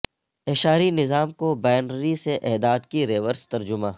اعشاری نظام کو بائنری سے اعداد کی ریورس ترجمہ